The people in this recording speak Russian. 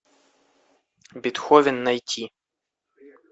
бетховен найти